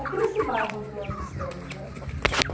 Aqui nesse bairro onde nós estamos, né?